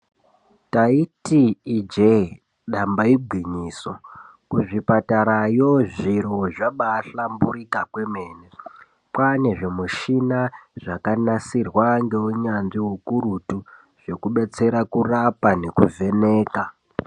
Taiti Ije damba igwinyiso zvipatarayo zviro zvabahlamburuka kwemene kwane zvimushina zvakanasirwa neunyanzvi ukurutu zvekudetsera kurapa kuvheneka.